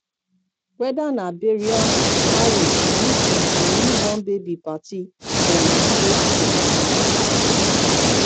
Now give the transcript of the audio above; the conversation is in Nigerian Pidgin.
weda na burial marriage meetin or new born baby party dem must break kolanut